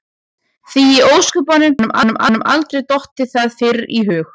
Því í ósköpunum hafði honum aldrei dottið það fyrr í hug?